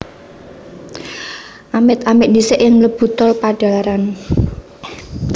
Amit amit ndhisik yen mlebu Tol Padalarang